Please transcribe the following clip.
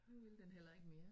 Nu ville den heller ikke mere